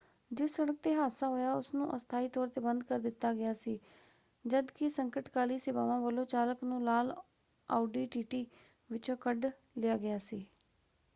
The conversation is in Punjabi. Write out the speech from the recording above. ਜਿਸ ਸੜਕ ‘ਤੇ ਹਾਦਸਾ ਹੋਇਆ ਉਸਨੂੰ ਅਸਥਾਈ ਤੌਰ ‘ਤੇ ਬੰਦ ਕਰ ਦਿੱਤਾ ਗਿਆ ਸੀ ਜਦ ਕਿ ਸੰਕਟਕਾਲੀ ਸੇਵਾਵਾਂ ਵੱਲੋਂ ਚਾਲਕ ਨੂੰ ਲਾਲ ਆਉਡੀ ਟੀਟੀ ਵਿੱਚੋਂ ਕੱਢ ਲਿਆ ਗਿਆ ਸੀ।